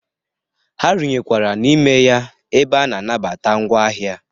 Ha runyekwara n'ime ya ebe a na-anabata ngwa ahịa.